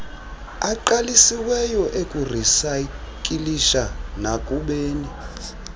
aqalisiweyo okurisayikilisha nakubeni